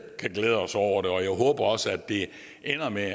kan glæde os over det og jeg håber også at det ender med at